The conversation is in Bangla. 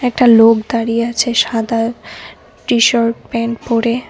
একটা লোক দাঁড়িয়ে আছে সাদা টি-শার্ট প্যান্ট পড়ে।